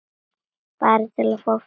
Bara til að fá frið.